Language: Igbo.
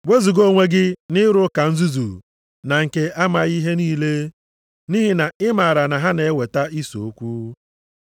Wezuga onwe gị nʼịrụ ụka nzuzu na nke amaghị ihe niile, nʼihi na ị maara na ha na-eweta ise okwu.